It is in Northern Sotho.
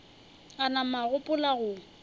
a nama a gopola go